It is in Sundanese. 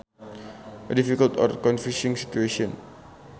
A difficult or confusing situation